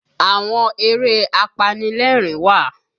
Àwọn eré apanilẹ́rìn wà